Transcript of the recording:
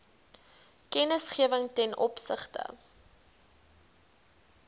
kennisgewing ten opsigte